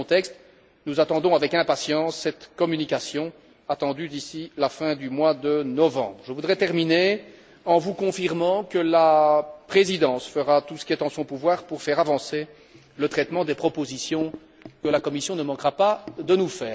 Dans ce contexte, nous attendons avec impatience cette communication d'ici la fin du mois de novembre. Enfin, je voudrais confirmer que la Présidence fera tout ce qui est en son pouvoir pour faire avancer le traitement des propositions que la Commission ne manquera pas de nous